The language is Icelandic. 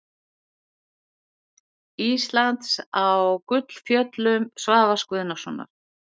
Íslands á Gullfjöllum Svavars Guðnasonar.